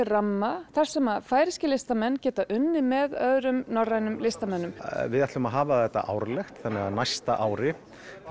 ramma þar sem færeyskir listamenn geta unnið með öðrum norrænum listamönnum við ætlum að hafa þetta árlegt þannig á næsta ári